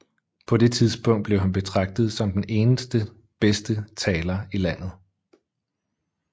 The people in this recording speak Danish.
På det tidspunkt blev han betragtet som den bedste taler i landet